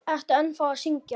Ertu ennþá að syngja?